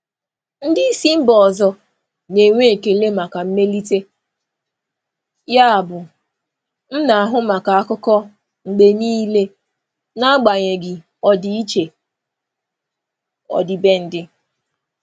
Ndị isi mba ọzọ na-enwe ekele maka mmelite, yabụ m na-ahụ maka akụkọ mgbe niile n'agbanyeghị ọdịiche ọdịbendị.